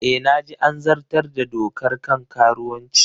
E, na ji an zartar da dokar kan karuwanci